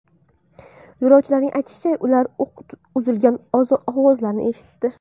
Yo‘lovchilarning aytishicha, ular o‘q uzilgan ovozlarni eshitdi.